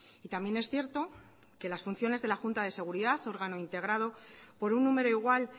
y también es cierto que las funciones de la junta de seguridad órgano integrado por un número igual